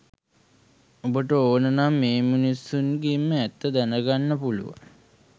උඹට ඕන නම් ඒ මිනිසුන්ගෙන්ම ඇත්ත දැන ගන්න පුළුවන්